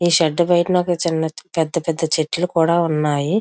ఈ షేర్డ్ బయటన ఒక చిన్న పెద్ద పెద్ద చెట్లు కూడా ఉన్నాయి.